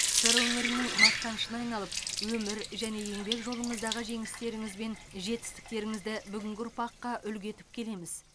сыр өңірінің мақтанышына айналып өмір және еңбек жолыңыздағы жеңістеріңіз бен жетістіктеріңізді бүгінгі ұрпақққа үлгі етіп келеміз